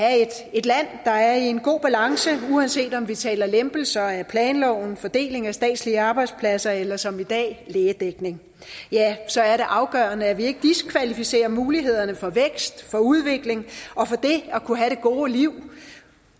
et land der er i en god balance uanset om vi taler lempelser af planloven fordeling af statslige arbejdspladser eller som i dag lægedækning så er det afgørende at vi ikke diskvalificerer mulighederne for vækst for udvikling og for det at kunne have det gode liv